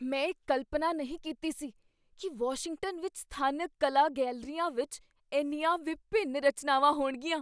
ਮੈਂ ਕਲਪਨਾ ਨਹੀਂ ਕੀਤੀ ਸੀ ਕੀ ਵਾਸ਼ਿੰਗਟਨ ਵਿੱਚ ਸਥਾਨਕ ਕਲਾ ਗੈਲਰੀਆਂ ਵਿੱਚ ਇੰਨੀਆਂ ਵਿਭਿੰਨ ਰਚਨਾਵਾਂ ਹੋਣਗੀਆਂ।